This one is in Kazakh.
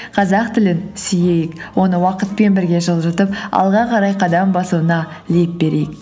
қазақ тілін сүйейік оны уақытпен бірге жылжытып алға қарай қадам басуына леп берейік